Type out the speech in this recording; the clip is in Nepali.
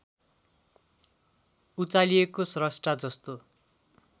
उचालिएको श्रष्टा जस्तो